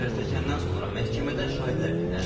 Zərərçəkəndən sonra məhkəmədə şahidlər dinlənilib.